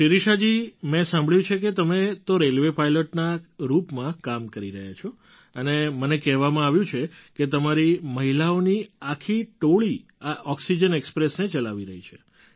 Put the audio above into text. શિરિષાજી મેં સાંભળ્યું છે કે તમે તો રેલવે પાઇલૉટના રૂપમાં કામ કરી રહ્યાં છો અને મને કહેવામાં આવ્યું કે તમારી મહિલાઓની આખી ટોળી આ ઑક્સિજન ઍક્સ્પ્રેસને ચલાવી રહી છે